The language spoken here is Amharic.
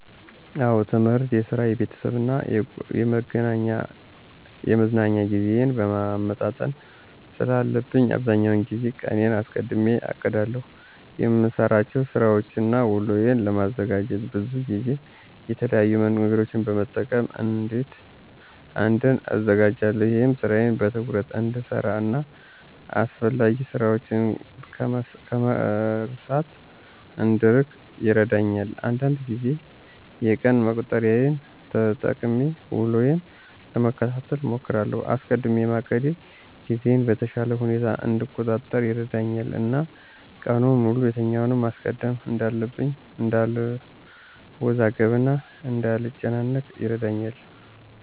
አዎ የትምህርት፣ የስራ፣ የቤተሰብ እና የመዝናኛ ጊዜዬን ማመጣጠን ስላለብኝ አብዛኛውን ጊዜ ቀኔን አስቀድሜ አቅዳለሁ። የምሰራቸውን ስራወችን እና ውሎዬን ለማደራጀት ብዙ ጊዜ የተለያዩ መንገዶችን በመጠቀም እቅዴን አዘጋጃለሁ። ይህም ስራዬን በትኩረት እንድሰራ እና አስፈላጊ ስራችን ከመርሳት እንድንርቅ ይረዳኛል። አንዳንድ ጊዜ የቀን መቁጠሪያን ተጠቅሜ ውሎዬን ለመከታተል እሞክራለሁ። አስቀድሜ ማቀዴ ጊዜዬን በተሻለ ሁኔታ እንድቆጣጠር ይረዳኛል እና ቀኑን ሙሉ የትኛውን ማስቀደም እንዳለብኝ እንዳልወዛገብ እና እንዳልጨናነቅ ይረዳኛል።